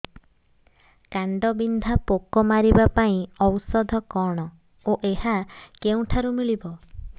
କାଣ୍ଡବିନ୍ଧା ପୋକ ମାରିବା ପାଇଁ ଔଷଧ କଣ ଓ ଏହା କେଉଁଠାରୁ ମିଳିବ